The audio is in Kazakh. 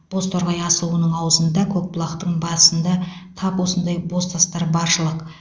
бозторғай асуының аузында көкбұлақтың басында тап осындай бозтастар баршылық